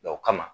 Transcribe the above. o kama